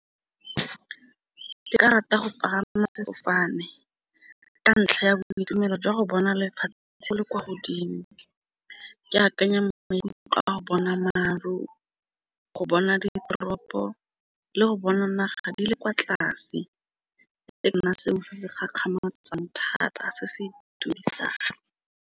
Ke ka rata go pagama sefofane ka ntlha ya boitumelo jwa go bona lefatshe go le kwa godimo, ke akanya mmele utlwa wa go bona maru, go bona ditoropo le go bona naga di le kwa tlase e nna seo se se gakgamatsang thata se se itumedisang.